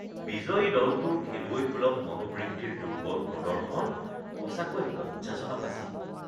বিজয়ী দলটোৰ খেলুৱৈসুলভ মনোবৃত্তিৰ দুৰ্বল প্ৰদৰ্শন সঁচাকৈ লজ্জাজনক আছিল